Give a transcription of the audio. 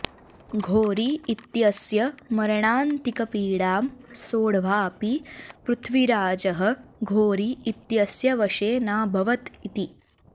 घोरी इत्यस्य मरणान्तिकपीडां सोढ्वाऽपि पृथ्वीराजः घोरी इत्यस्य वशे नाभवत् इति